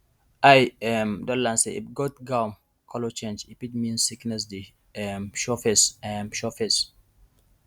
i um don learn say if goat gum color change e fit mean sickness dey um show face um show face